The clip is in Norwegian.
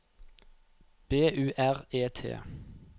B U R E T